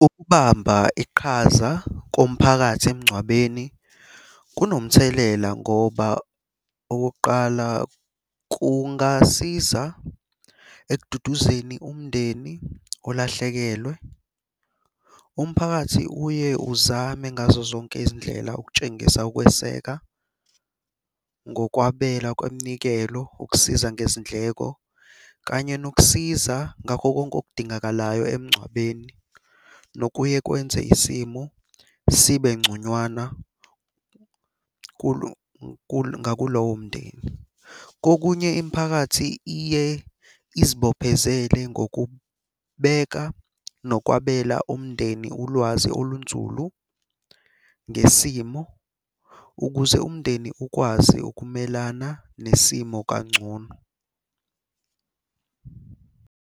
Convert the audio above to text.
Ukubamba iqhaza komphakathi emngcwabeni kunomthelela ngoba okokuqala kungasiza ekududuzeni umndeni olahlekelwe. Umphakathi uye uzame ngazo zonke izindlela ukukutshengisa ukweseka ngokwabela kweminikelo ukusiza ngezindleko, kanye nokusiza ngakho konke okudingakalayo emngcwabeni. Nokuye kwenze isimo sibe ngconywana ngaku lowo mndeni. Kokunye imiphakathi iye izibophezele ngokubeka nokwabela umndeni ulwazi olunzulu ngesimo, ukuze umndeni ukwazi ukumelana nesimo kangcono.